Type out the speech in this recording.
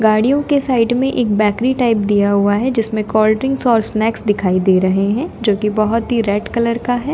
गाड़ियों के साइड में एक बेकरी टाइप दिया हुआ है जिसमें कोल्ड्रिंक्स और स्नैक्स दिखाई दे रहे हैं जो कि बहुत ही रेड कलर का है।